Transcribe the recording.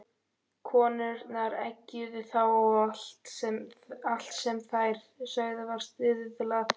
Konurnar eggjuðu þá og allt sem þær sögðu var stuðlað.